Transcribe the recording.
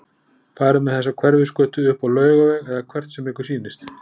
Farið með þessa Hverfisgötu upp á Laugaveg- eða hvert sem ykkur sýnist.